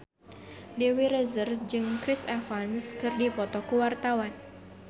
Dewi Rezer jeung Chris Evans keur dipoto ku wartawan